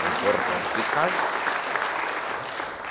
O importante é que case.